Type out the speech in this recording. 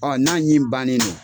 n'a ɲ'i bannen no